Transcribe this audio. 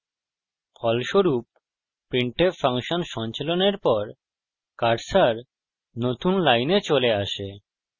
ফলস্বরূপ printf function সঞ্চালনের পর কার্সার নতুন লাইন চলে আসে